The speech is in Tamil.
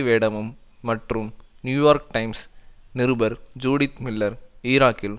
வேடமும் மற்றும் நியூயார்க் டைம்ஸ் நிருபர் ஜூடித் மில்லர் ஈராக்கில்